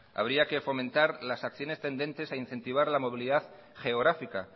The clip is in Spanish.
habría que fomentar las acciones tendentes a incentiva la movilidad geográfica